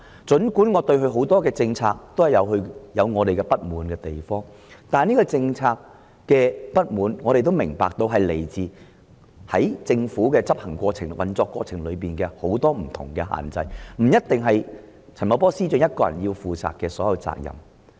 儘管我對他多項政策有不滿意之處，但我也明白因為政府在執行或運作過程中面對諸多限制，因此不應由陳茂波司長獨力承擔所有責任。